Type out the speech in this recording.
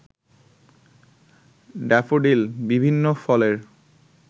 daffodil, বিভিন্ন ফলের